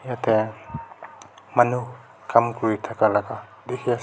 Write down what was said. etey manu kam kuri thaka la ka dikey ase.